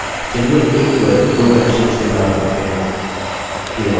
चलिए एक query दो conditions के साथ लिखते हैं